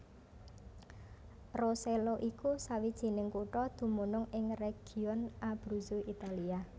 Rosello iku sawijining kutha dumunung ing region Abruzzo Italia